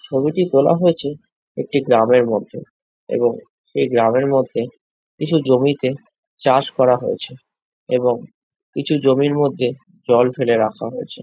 ছবিটি তোলা হয়েছে একটি গ্রামের মধ্যে এবং সেই গ্রামের মধ্যে কিছু জমিতে চাষ করা হয়েছে এবং কিছু জমির মধ্যে জল ফেলে রাখা হয়েছে ।